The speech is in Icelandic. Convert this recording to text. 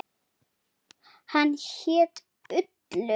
Hann hét Ullur.